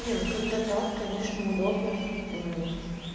не ну когда так конечно удобно мм